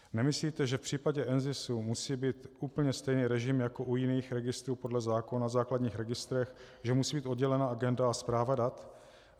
Nemyslíte, že v případě NZIS musí být úplně stejný režim jako u jiných registrů podle zákona o základních registrech, že musí být oddělena agenda a správa dat?